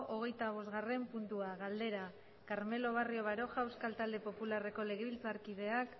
hogeitabosgarren puntua galdera carmelo barrio baroja euskal talde popularreko legebiltzarkideak